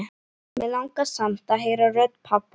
Mig langar samt að heyra rödd pabba.